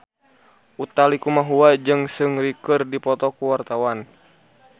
Utha Likumahua jeung Seungri keur dipoto ku wartawan